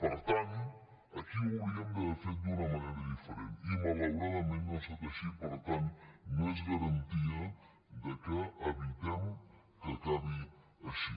per tant aquí ho hauríem d’haver fet d’una manera diferent i malauradament no ha estat així per tant no és garantia que evitem que acabi així